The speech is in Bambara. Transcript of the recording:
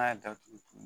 N'a y'a datugu